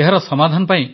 ଏହାର ସମାଧାନ ପାଇଁ